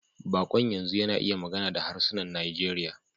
Baƙon yanzu yana iya magana da harsunan Najeriya.